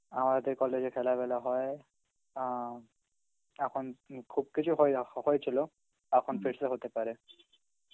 আমাদের college এ খেলা ফেলা হয় অ্যাঁ এখন উম খুব কিছু হয় না হক~ হয়েছিল এখন হতে পারে.